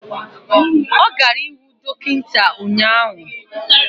Ọ gara ịhụ dọkịta ụnyaahụ